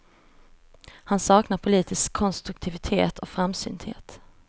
Han saknar politisk konstruktivitet och framsynthet.